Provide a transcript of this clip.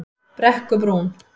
Brekkubrún